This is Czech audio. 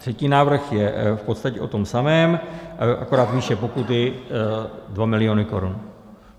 Třetí návrh je v podstatě o tom samém, akorát výše pokuty 2 miliony korun.